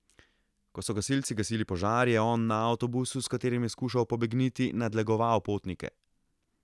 Ko so gasilci gasili požar, je on na avtobusu, s katerim je skušal pobegniti, nadlegoval potnike.